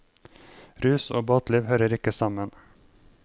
Rus og båtliv hører ikke sammen.